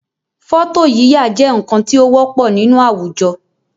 Fọ́tò yíyà jẹ́ nǹkan tí ó wọ́pọ̀ nínú àwùjọ